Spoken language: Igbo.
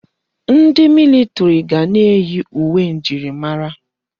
Ndi militiri ga na-eyi uwe njirimara.